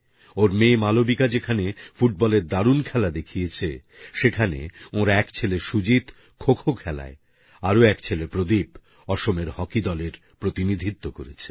ওঁর মেয়ে মালবিকা যেখানে ফুটবলের দারুন খেলা দেখিয়েছে সেখানে ওঁর এক ছেলে সুজিত খো খো খেলায় আরো এক ছেলে প্রদীপ অসমের হকি দলের প্রতিনিধিত্ব করেছে